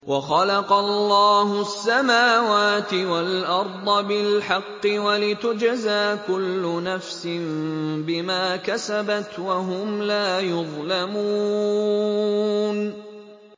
وَخَلَقَ اللَّهُ السَّمَاوَاتِ وَالْأَرْضَ بِالْحَقِّ وَلِتُجْزَىٰ كُلُّ نَفْسٍ بِمَا كَسَبَتْ وَهُمْ لَا يُظْلَمُونَ